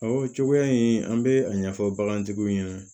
Ɔ cogoya in an bɛ a ɲɛfɔ bagantigiw ɲɛna